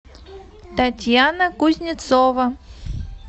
татьяна кузнецова